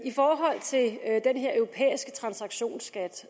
her europæiske transaktionsskat